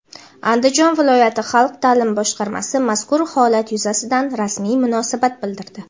Andijon viloyati xalq ta’limi boshqarmasi mazkur holat yuzasidan rasmiy munosabat bildirdi.